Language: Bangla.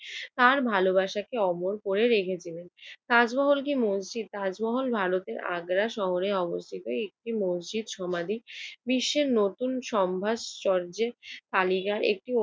তার ভালোবাসাকে অমর করে রেখেছিলেন। তাজমহল কি মসজিদ? তাজমহল ভারতের আগ্রা শহরে অবস্থিত একটি মসজিদ সমাধি। বিশ্বের নতুন সপ্তাশ্চর্যের তালিকা একটি